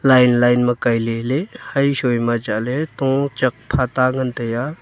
line line ma kailey ley ha shoi ma tochak phata ngan tai a.